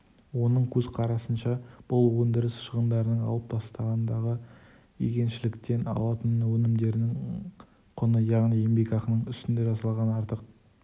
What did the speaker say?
оның көзқарасынша бұл өндіріс шығындарын алып тастағандағы егіншіліктен алынатын өнімдердің құны яғни еңбекақының үстінде жасалған артық